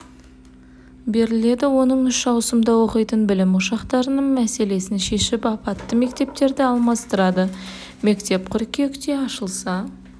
беріледі оның үш ауысымда оқитын білім ошақтарының мәселесін шешіп апатты мектептерді алмастырады мектеп қыркүйекте ашылса